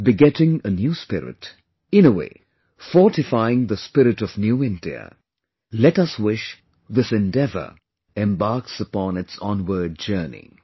Begetting a new spirit, in a way fortifying the spirit of New India, let us wish this endeavour embarks upon its onward journey